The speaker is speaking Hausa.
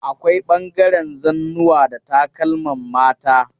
Akwai ɓangaren zannuwa da takalman mata.